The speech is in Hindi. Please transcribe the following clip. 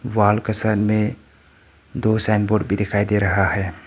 वॉल का साइड में दो साइनबोर्ड भी दिखाई दे रहा है।